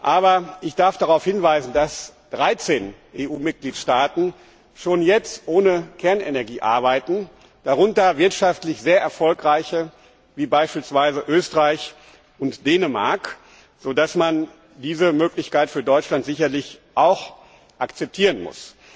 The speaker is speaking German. Aber ich darf darauf hinweisen, dass 13 EU Mitgliedstaaten schon jetzt ohne Kernenergie arbeiten, darunter wirtschaftlich sehr erfolgreiche Länder wie beispielsweise Österreich und Dänemark, sodass man diese Möglichkeit für Deutschland sicherlich auch akzeptieren muss.